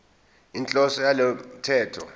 inhloso yalo mthetho